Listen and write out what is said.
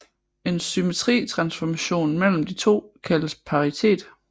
En symmetri transformation mellem de to kaldes paritet